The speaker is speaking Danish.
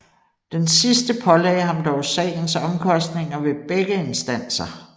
Den sidste pålagde ham dog sagens omkostninger ved begge instanser